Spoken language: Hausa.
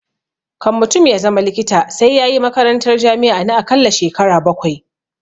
Kan mutum ya zama likita sai yayi makarantar jami'a na akalla shekara bakwai